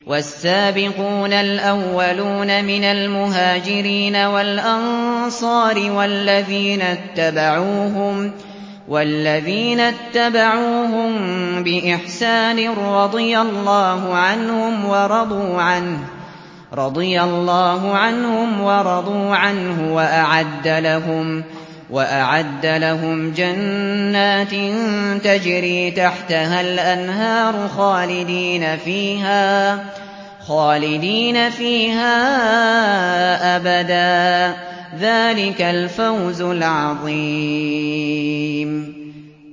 وَالسَّابِقُونَ الْأَوَّلُونَ مِنَ الْمُهَاجِرِينَ وَالْأَنصَارِ وَالَّذِينَ اتَّبَعُوهُم بِإِحْسَانٍ رَّضِيَ اللَّهُ عَنْهُمْ وَرَضُوا عَنْهُ وَأَعَدَّ لَهُمْ جَنَّاتٍ تَجْرِي تَحْتَهَا الْأَنْهَارُ خَالِدِينَ فِيهَا أَبَدًا ۚ ذَٰلِكَ الْفَوْزُ الْعَظِيمُ